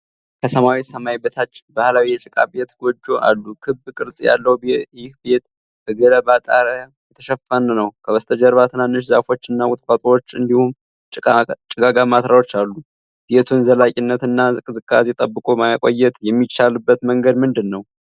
ከሰማያዊ ሰማይ በታች፣ ባህላዊ የጭቃ ቤት (ጎጆ) አሉ። ክብ ቅርጽ ያለው ይህ ቤት በገለባ ጣሪያ የተሸፈነ ነው። ከበስተጀርባ ትናንሽ ዛፎች እና ቁጥቋጦዎች እንዲሁም ጭጋጋማ ተራሮች አሉ። ቤቱን ዘላቂነት እና ቅዝቃዜ ጠብቆ ማቆየት የሚቻልበት መንገድ ምንድነው?